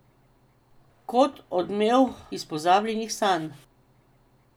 Kot odmev iz pozabljenih sanj.